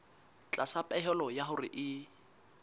tlasa pehelo ya hore e